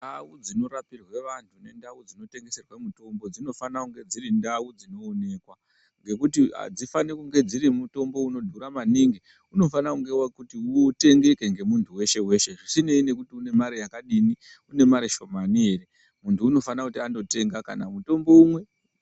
Ndau dzinorapirwa anhu ngendau dzinotengeserwe mitombo dzinofanirwe kunge dziri ndau dzinooneka ngekuti adzifaniri kunge dzine mitombo dzinodhura maningi. Unofanira kuti uchitengeke ngemunhu weshe weshe zvisinei nekuti une mare yakadini, une mare shomani ere, munhu unofanira kunotenga kana mutombo umwe.